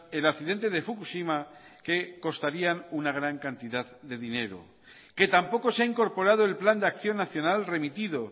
el accidente de fukushima que costarían una gran cantidad de dinero que tampoco se ha incorporado el plan de acción nacional remitido